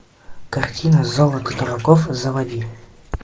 картина золото дураков заводи